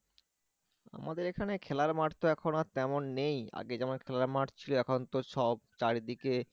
আমাদের এখানে খেলার মাঠ তো এখন আর তেমন নেই আগে যেমন খেলার মাঠ ছিল এখন তো সব চারিদিকে